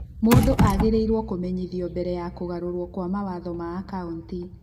Mũndũ agĩrĩirwo kũmenyithio mbere ya kũgarũrwo kwa mawatho ma akaũnti.